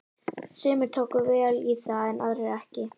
Sumir tóku vel í það en aðrir ekki.